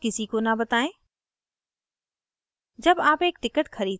अपना password किसी को न बताएं